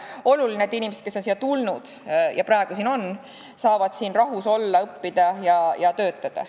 Tähtis on, et inimesed, kes on siia tulnud ja on praegu siin, saavad rahus olla, õppida ja töötada.